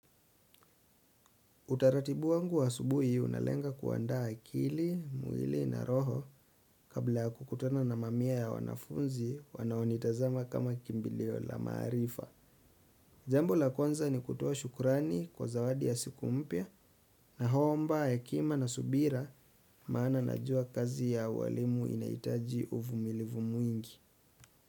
Utaratibu wangu wa subuhi unalenga kuanda akili, mwili na roho kabla ya kukutana na mamia ya wanafunzi wanaonitazama kama kimbilio la marifa. Jambo la kwanza ni kutoa shukurani kwa zawadi ya siku mpya na naomba hekima na subira maana najua kazi ya uwalimu inahitaji uvumilivu mwingi.